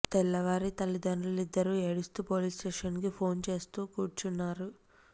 తెల్లవారి తల్లీతంద్రులిద్దరూ ఏడుస్తూ పోలీస్ స్టేషన్ కి ఫోన్ చేస్తూ కూర్చున్నారు